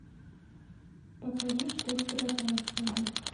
покажи что спрятано в снегу